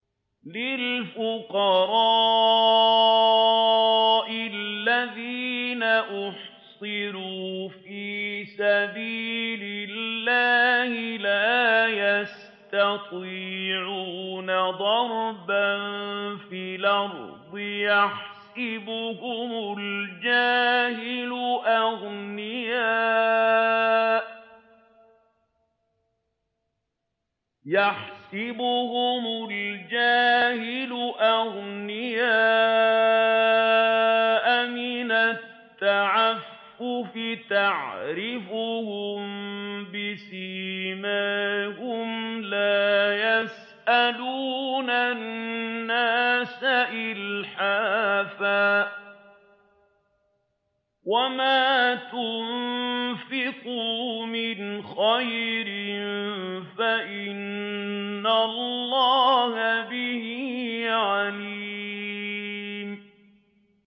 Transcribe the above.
لِلْفُقَرَاءِ الَّذِينَ أُحْصِرُوا فِي سَبِيلِ اللَّهِ لَا يَسْتَطِيعُونَ ضَرْبًا فِي الْأَرْضِ يَحْسَبُهُمُ الْجَاهِلُ أَغْنِيَاءَ مِنَ التَّعَفُّفِ تَعْرِفُهُم بِسِيمَاهُمْ لَا يَسْأَلُونَ النَّاسَ إِلْحَافًا ۗ وَمَا تُنفِقُوا مِنْ خَيْرٍ فَإِنَّ اللَّهَ بِهِ عَلِيمٌ